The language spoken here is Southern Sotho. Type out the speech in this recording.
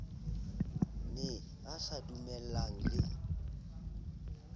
ne a sa dumellane le